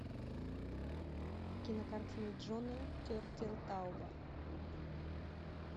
кинокартина джона тертелтауба